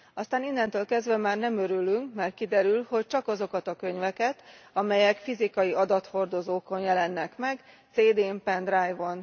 Aztán innentől kezdve már nem örülünk, mert kiderül, hogy csak azokat a könyveket, amelyek fizikai adathordozókon jelennek meg, CD n, pendrive on.